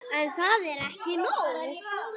En það er ekki nóg.